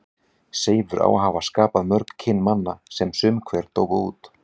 Seifur á að hafa skapað mörg kyn manna sem sum hver dóu út.